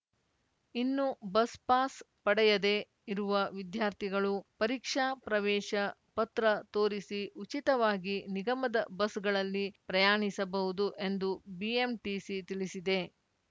ಇನ್ನು bus pass ಪಡೆಯದೇ ಇರುವ ವಿದ್ಯಾರ್ಥಿಗಳು ಪರೀಕ್ಷಾ ಪ್ರವೇಶ ಪತ್ರ ತೋರಿಸಿ ಉಚಿತವಾಗಿ ನಿಗಮದ ಬಸ್‌ಗಳಲ್ಲಿ ಪ್ರಯಾಣಿಸಬಹುದು ಎಂದು ಬಿಎಂಟಿಸಿ ತಿಳಿಸಿದೆ